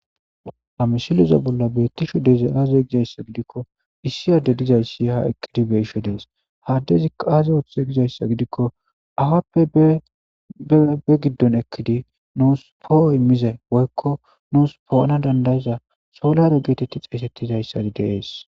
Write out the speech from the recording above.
Ha misileza bolla beettisho deze aaze gizayssa gidikko issi adde dizayssi ha eqqidi beisho dees haddezi kaaze wothe gizayssa gidikko afappe be giddon ekkidi nuus pooo immize woykko nuus po7ana dandayza solero geetetti xaysettizayssadi dees.